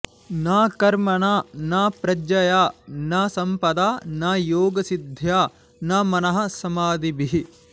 न कर्मणा न प्रजया न सम्पदा नयोगसिध्या न मनः समाधिभिः